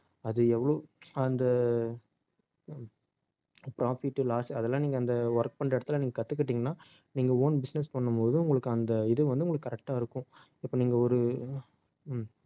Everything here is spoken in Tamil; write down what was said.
அது எவ்வளவு அந்த profit loss அதெல்லாம் நீங்க அந்த work பண்ற இடத்துல நீங்க கத்துக்கிட்டீங்கன்னா நீங்க own business பண்ணும்போது உங்களுக்கு அந்த இது வந்து உங்களுக்கு correct ஆ இருக்கும் இப்ப நீங்க ஒரு